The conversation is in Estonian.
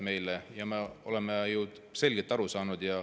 Me oleme ju selgelt aru saanud.